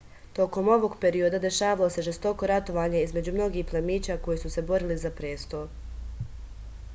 tokom ovog perioda dešavalo se žestoko ratovanje između mnogih plemića koji su se borili za presto